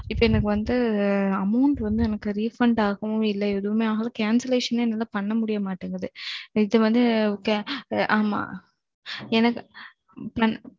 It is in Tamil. இப்போ எனக்கு வந்து amount வந்து எனக்கு refund ஆகவும் இல்ல எதுவுமே ஆகல cancellation னே என்னால பண்ண முடிய மாட்டேங்குது. இது வந்து ~ ஆமா. எனக்கு